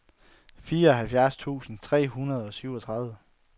fireoghalvfjerds tusind tre hundrede og syvogtredive